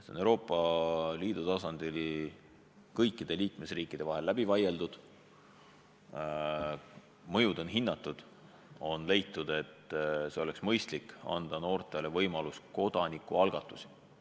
See on Euroopa Liidu tasandil kõikide liikmesriikide vahel läbi vaieldud, mõju on hinnatud ja on leitud, et oleks mõistlik anda noortele võimalus kodanikualgatust toetada.